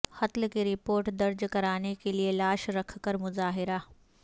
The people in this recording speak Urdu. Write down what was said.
قتل کی رپورٹ درج کرانے کیلئے لاش رکھ کر مظاہرہ